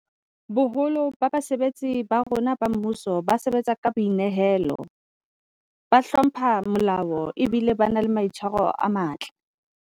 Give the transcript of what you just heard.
Boholo ba basebetsi ba rona ba mmuso ba sebatsa ka boi nehelo, ba hlompha molao ebile ba na le maitshwaro a matle.